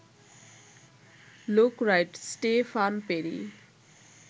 look right, Stefan peri